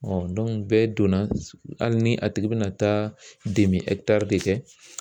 bɛɛ donna hali ni a tigi bina taa de kɛ